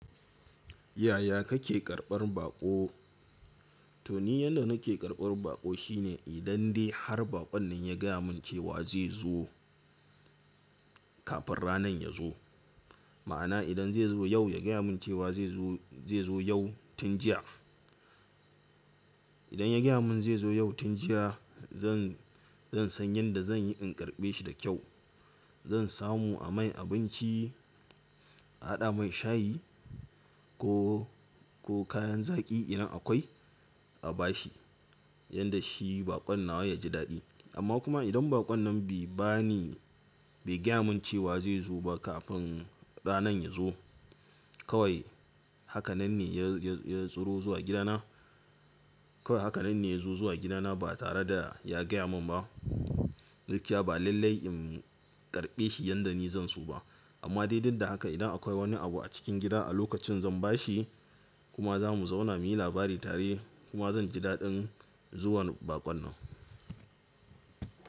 Yaya kake karɓar baƙo? To ni yanda nake karɓar baƙo shine idan dai har baƙon nan ya gaya mun cewa zai zo kafin ranan ya zo. Ma'ana idan zai zo yau ya gaya mun cewa zai zo, zai zo yau tun jiya. Idan ya gaya mun zai zo yau tun jiya zan, zan san yanda zan yi in karɓe shi da kyau. Zan samu a mai abinci, a haɗa mai shayi ko, ko kayan zaƙi idan akwai a bashi. Yanda shi baƙon nawa ya ji daɗi. Amma kuma idan baƙon nan bai bani, bai gaya mun cewa zai zo ba kafin ranan ya zo. Kawai hakanan ne ya, ya, ya tsuro zuwa gidana. Kawai hakanan ne ya zo zuwa gidana ba tare da ya gaya mun ba. Gaskiya ba lallai in karɓe shi yanda ni zan so ba. Amma dai duk da haka idan akwai wani abu a cikin gida a lokacin zan ba shi kuma za mu zauna muyi labari tare kuma zan ji daɗin zuwan baƙon nan.